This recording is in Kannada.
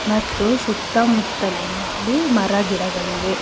ಮತ್ತು ಸುತ್ತ ಮುತ್ತಲಿನಲ್ಲಿ ಮರ ಗಿಡಗಳಿವೆ.